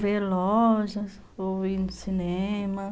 Vê lojas, ou ir no cinema.